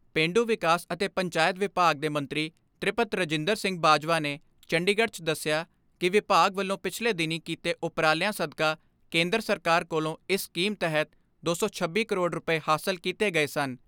ਪੇਂਡੂ ਵਿਕਾਸ ਅਤੇ ਪੰਚਾਇਤ ਵਿਭਾਗ ਦੇ ਮੰਤਰੀ ਤ੍ਰਿਪਤ ਰਜਿੰਦਰ ਸਿੰਘ ਬਾਜਵਾ ਨੇ ਚੰਡੀਗੜ੍ਹ 'ਚ ਦਸਿਆ ਕਿ ਵਿਭਾਗ ਵਲੋਂ ਪਿਛਲੇ ਦਿਨੀਂ ਕੀਤੇ ਉਪਰਾਲਿਆਂ ਸਦਕਾ ਕੇਂਦਰ ਸਰਕਾਰ ਕੋਲੋਂ ਇਸ ਸਕੀਮ ਤਹਿਤ ਦੋ ਸੌ ਛੱਬੀ ਕਰੋੜ ਰੁਪਏ ਹਾਸਲ ਕੀਤੇ ਗਏ ਸਨ।